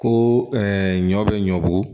Ko ɲɔ bɛ ɲɔbugu